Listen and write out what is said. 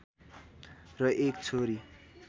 र एक छोरी